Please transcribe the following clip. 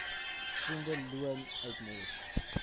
verdiende loon uitmors